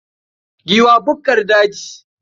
Giwa bukkar daji.